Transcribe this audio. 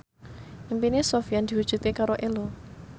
impine Sofyan diwujudke karo Ello